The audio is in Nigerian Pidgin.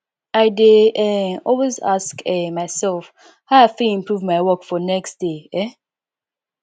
i dey um always ask um myself how i fit improve my work for next day um